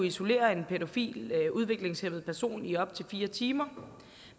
isolere en pædofil udviklingshæmmet person i op til fire timer